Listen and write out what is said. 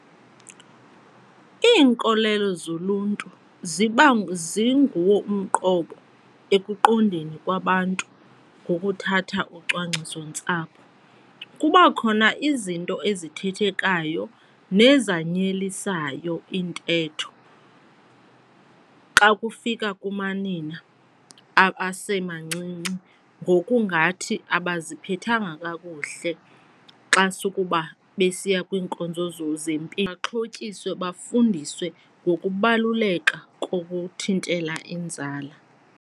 Iinkolelo zoluntu ziba zinguwo umqobo ekuqondeni kwabantu ngokuthatha ucwangcisontsapho. Kukwakhona izinto ezithethekayo nezanyelisayo iintetho xa kufika kumanina abasemancinci ngokungathi abaziphethanga kakuhle xa sukuba besiya kwiinkonzo zempilo. Mabaxhotyiswe bafundiswe ngokubaluleka kokuthintela inzala.